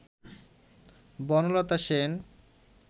Banalata Sen